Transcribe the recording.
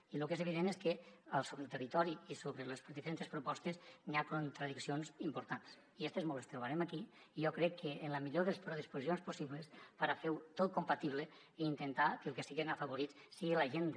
i lo que és evident és que sobre el territori i sobre les diferentes propostes n’hi ha contradiccions importants i estes mos les trobarem aquí i jo crec que amb la millor de les predisposi cions possibles per a fer ho tot compatible i intentar que els que siguen afavorits siga la gent del